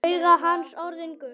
Augu hans orðin gul.